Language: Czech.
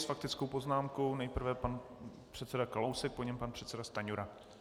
S faktickou poznámkou nejprve pan předseda Kalousek, po něm pan předseda Stanjura.